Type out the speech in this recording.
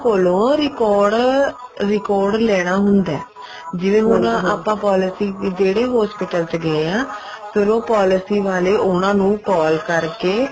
ਕੋਲੋਂ record record ਲੈਣਾ ਹੁੰਦਾ ਜਿਵੇਂ ਹੁਣ ਆਪਾਂ policy ਜਿਹੜੇ hospital ਚ ਗਏ ਹਾਂ ਫ਼ੇਰ ਉਹ policy ਵਾਲੇ ਉਹਨਾ ਨੂੰ call ਕਰਕੇ